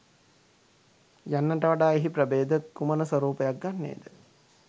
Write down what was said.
යන්නට වඩා එහි ප්‍රභේද කුමන ස්වරූපයක් ගන්නේ ද?